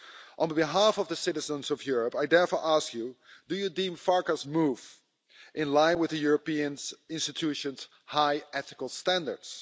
On behalf of the citizens of Europe, I therefore ask you do you deem Farkas' move to be in line with the Europeans institutions high ethical standards?